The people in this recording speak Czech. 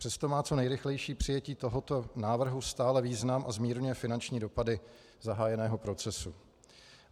Přesto má co nejrychlejší přijetí tohoto návrhu stále význam a zmírňuje finanční dopady zahájeného procesu.